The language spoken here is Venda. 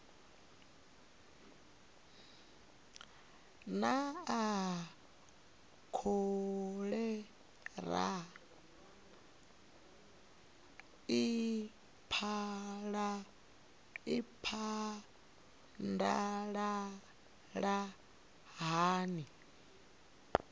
naa kholera i phadalala hani